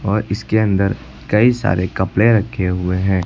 और इसके अंदर कई सारे कपड़े रखे हुए हैं।